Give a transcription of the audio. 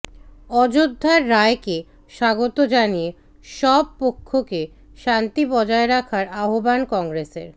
অযোধ্যার রায়কে স্বাগত জানিয়ে সব পক্ষকে শান্তি বজায় রাখার আহ্বান কংগ্ৰেসের